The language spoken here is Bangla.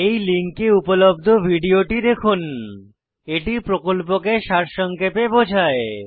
এই লিঙ্কে উপলব্ধ ভিডিওটি দেখুন httpspoken tutorialorgWhat is a Spoken Tutorial এটি প্রকল্পকে সারসংক্ষেপে বোঝায়